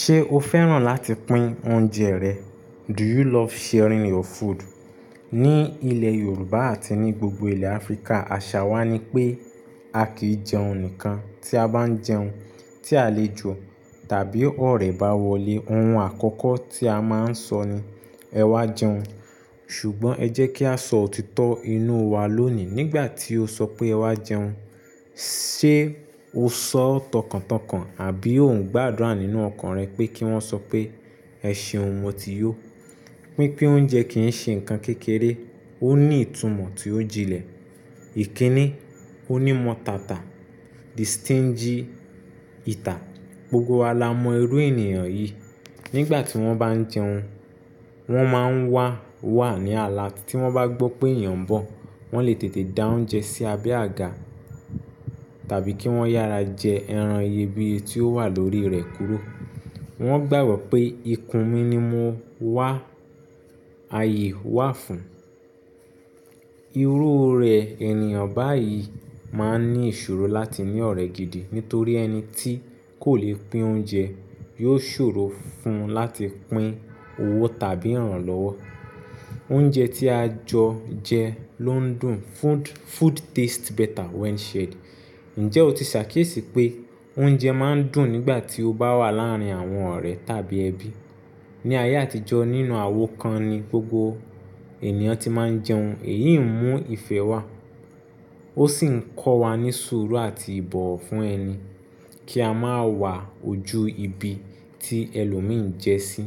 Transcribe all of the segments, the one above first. Ṣé o fẹ́ràn láti pín oúnjẹ rẹ? Do you love sharing your food? Ní ilẹ̀ Yorùbá àti ní gbogbo ilẹ̀ Áfíríkà, àṣà wa nipé a kì í jẹun nìkan. Tí a bá jẹun, tí àlejò tàbí ọ̀rẹ́ bá wọlé, ohun àkọ́kọ́ tí a máa ń sọ ni "Ẹ wá jẹun". Ṣùgbọ́n ẹ jẹ́ kí a sọ òtítọ́ inú wa lónìí, nígbà tí o sọ pé ẹ wá jẹun, ṣe o sọ ó tọkàntọkàn àbí ò ń gbàdúrà nínú ọkàn rẹ pé kí wọ́n sọ pé "Ẹ ṣe ohun mo ti yó"? Pínpín oúnjẹ kì í ṣe nǹkan kékeré, ó ní ìtumọ̀ tí ó jinlẹ̀. Ìkíni, onímọ̀tàtà, distinge, ìtà, gbogbo wa la mọ irú ènìyàn yìí. Nígbà tí wọ́n bá ń jẹun, wọ́n máa ń wà wà ní alert, tí wọ́n bá gbọ́ pé èèyàn ń bọ̀, wọ́n lè tètè dá oúnjẹ sí abẹ́ àga tàbí kí wọ́n yára jẹ ẹran iyebíye tí ó wà lórí rẹ̀ kúrò. Wọ́n gbàgbọ́ pé ikùn mi ni mo wà, ààyè wà fún. Irú rẹ̀ ènìyàn báyìí máa ń ní ìṣòro láti ní ọ̀rẹ́ gidi nítorí ẹni tí kò lè pín oúnjẹ yóò ṣòro fún un láti pín owó tàbí ìràn lọ́wọ́. Oúnjẹ tí a jọ jẹ ló ń dùn. Food taste better when shared. Ǹjẹ́ o ti ṣàkíyèsí pé oúnjẹ máa ń dùn nígbà tí ó bá wà láàárín àwọn ọ̀rẹ́ tàbí ẹbí? Ni ayé àtijọ́ nínú àwo kan ni gbogbo ènìyàn ti máa ń jẹun. Èyí ń mú ìfẹ́ wá, ó sì ń kọ́ wa ní sùúrù àti ìbọ̀wọ̀ fún ẹni kí a máa wà ojú ibi tí ẹlòmíì ń jẹ sí.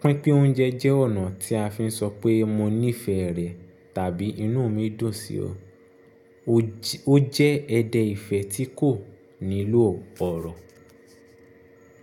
Pínpín oúnjẹ jẹ́ ọ̀nà tí a fi ń sọ pé mo nífẹ̀ẹ́ rẹ tàbí inú mi dùn sí ọ. O jẹ́ ẹ̀dẹ̀ ìfẹ́ tí kò nílò ọ̀rọ̀.